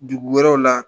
Dugu wɛrɛw la